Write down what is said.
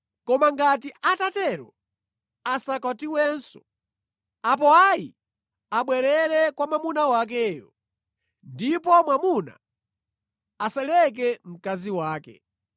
Koma ngati atatero, asakwatiwenso, apo ayi, abwerere kwa mwamuna wakeyo. Ndipo mwamuna asaleke mkazi wake.